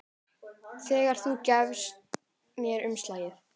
Þegar þú gafst mér umslagið.